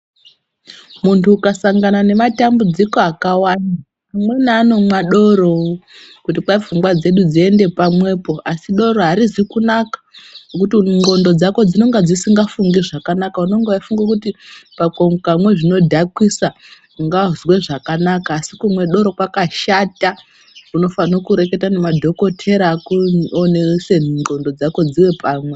Munthu ukasangana nematambudziko akawanda, amweni anomwa doro kuti kwai pfungwa dzedu dziende pamwepo. Asi doro harizi kunaka ngokuti ndxondo dzako dzinonge dzisikafungi zvakanaka, unonga weifunga kuti ukamwa zvinodhakisa ungazwe zvakanaka asi kumwa doro kwakashata. Unofanirwa kureketa nemadhokodheya akuonese ndxondo dzako dziwe pamwe.